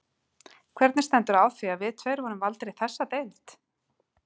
Hvernig stendur á því, að við tveir vorum valdir í þessa deild?